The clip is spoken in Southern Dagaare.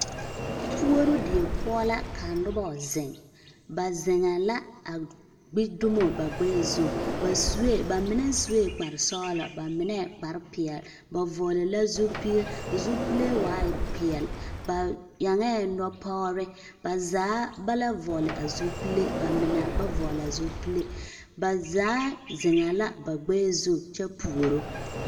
Puoruu die poɔ la ka nobɔ zeŋ ba zeŋɛɛ la a gbi dumo ba gbɛɛ zu ba suɛ ba mine suɛ kparresɔglɔ ba mine kparrepeɛl ba vɔɔli la zupeɛ zupile waaɛ peɛl ba eŋɛɛ nɔpɔgre ba zaa ba la vɔɔli a zupile ba mine ba la vɔɔle a zupile ba zaa zeŋɛɛ ba gbɛɛ zu kyɛ puoro.